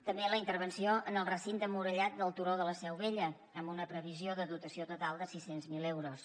també la intervenció en el recinte murallat del turó de la seu vella amb una previsió de dotació total de sis cents miler euros